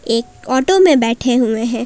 एक ऑटो में बैठे हुए हैं।